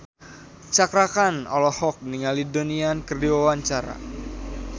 Cakra Khan olohok ningali Donnie Yan keur diwawancara